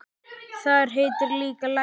Þar heitir líka Lækur.